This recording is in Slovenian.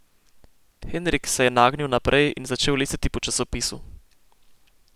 Henrik se je nagnil naprej in začel listati po časopisu.